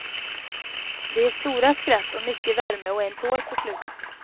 Det är stora skratt och mycket värme och en tår på slutet.